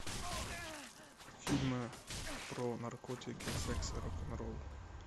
фильмы про наркотики секс и рок н ролл